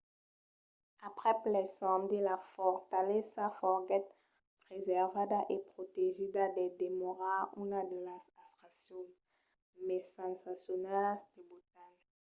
aprèp l'incendi la fortalesa foguèt preservada e protegida per demorar una de las atraccions mai sensacionalas de botan